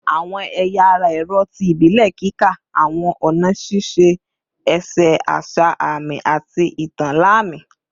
Awọn ẹya ara ẹrọ ti ibile kika awọn ọna šiše ese asa aami ati itan lami